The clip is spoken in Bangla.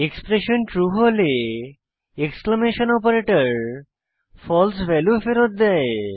এক্সপ্রেশন ট্রু হলে এক্সক্লেমেশন অপারেটর ফালসে ভ্যালু ফেরৎ দেয়